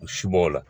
U si b'o la